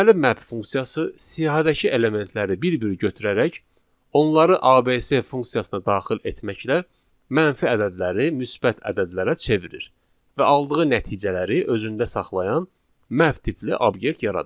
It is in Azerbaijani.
Deməli map funksiyası siyahıdakı elementləri bir-bir götürərək onları ABS funksiyasına daxil etməklə mənfi ədədləri müsbət ədədlərə çevirir və aldığı nəticələri özündə saxlayan map tipli obyekt yaradır.